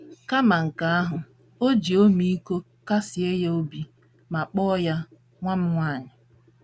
Kama nke ahụ, o ji ọmịiko kasie ya obi ma kpọọ ya “ nwa m nwaanyị. ”